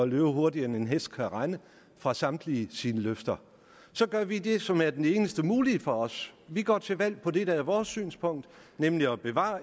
løbe hurtigere end en hest kan rende fra samtlige sine løfter så gør vi det som er det eneste mulige for os vi går til valg på det der er vores synspunkt nemlig at bevare